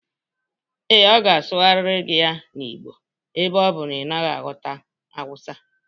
Ee, ọ ga asughariri gi ya n'asusu igbo ebe ọ bụ na i naghi aghota Hausa